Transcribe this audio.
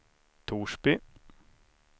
Torsby